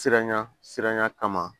Siranya siranya kama